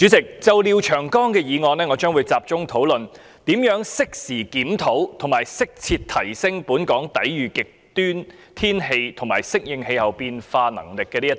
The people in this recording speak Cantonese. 主席，就廖長江議員的議案，我將會集中討論如何適時檢討及適切提升本港抵禦極端天氣和應對氣候變化的能力。